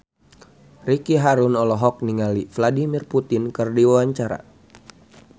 Ricky Harun olohok ningali Vladimir Putin keur diwawancara